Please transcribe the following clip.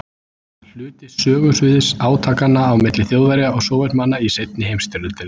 Hluti sögusviðs átakanna á milli Þjóðverja og Sovétmanna í seinni heimsstyrjöldinni.